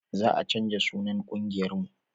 Za a canja sunan ƙungiyar mu